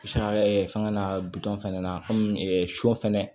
Sa ɛ fɛngɛ na bitɔn fɛnɛ na kɔmi sɔ fɛnɛ